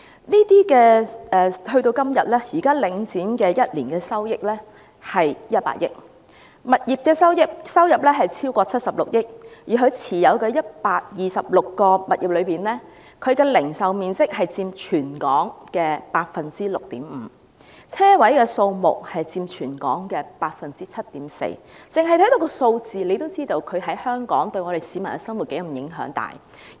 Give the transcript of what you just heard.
時至今日，領展每年收益達100億元，當中來自物業的收入超過76億元，而其持有的126個物業中，零售面積佔全港的 6.5%， 車位數目佔全港的 7.4%， 單看數字已經知道對香港市民的生活有多大影響。